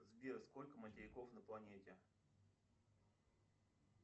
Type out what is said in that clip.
сбер сколько материков на планете